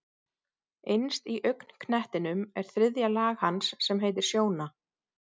Innst í augnknettinum er þriðja lag hans sem heitir sjóna.